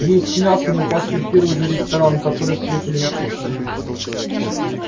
есть мясо мы пошли в первый же ресторан который встретили на пути